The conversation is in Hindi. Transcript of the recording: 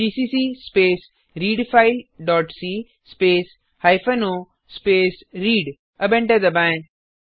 GCC space read file dot C space hyphen O space read अब एंटर दबाएँ